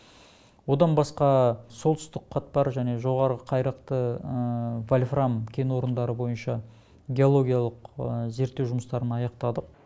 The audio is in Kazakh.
одан басқа солтүстік қатпар және жоғарғы қайрақты вольфрам кен орындары бойынша геологиялық зерттеу жұмыстарын аяқтадық